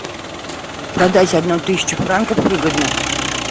продать одну тысячу франков выгодно